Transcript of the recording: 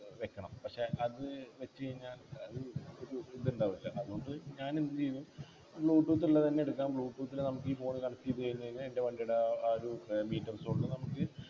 വെക്കണം പക്ഷേ അത് വെച്ച് കഴിഞ്ഞാ അത് ഒരു ഇത് ഉണ്ടാവില്ലല്ലോ അതുകൊണ്ട് ഞാനെന്ത് ചെയ്തു Bluetooth ള്ളതെന്നെ എടുക്കാം Bluetooth ല് നമുക്കീ Phone connect ചെയ്തു കഴിഞ്ഞ് കഴിഞ്ഞാൽ എൻ്റെ വണ്ടിയുടെ ആ ഒരു ഏർ Meter zone ൽ നമുക്ക്